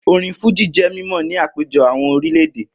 Orin Fújì jẹ́ mímọ̀ ní àpéjọ àwọn orílẹ̀ èdè